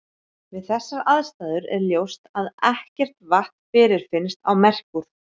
Við þessar aðstæður er ljóst að ekkert vatn fyrirfinnst á Merkúr.